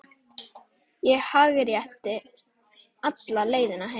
Ég hágrét alla leiðina heim.